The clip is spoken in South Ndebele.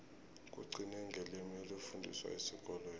kugcine ngelimi elifundiswa esikolweni